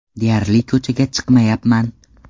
Deyarli ko‘chaga chiqmayapman.